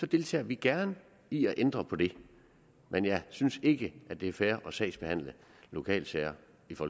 deltager vi gerne i at ændre på det men jeg synes ikke det er fair at sagsbehandle lokale sager